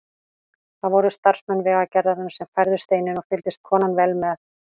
Það voru starfsmenn Vegagerðarinnar sem færðu steininn og fylgdist konan vel með.